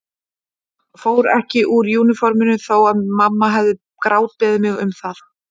Fór ekki úr úniforminu þó að mamma hefði grátbeðið mig um það.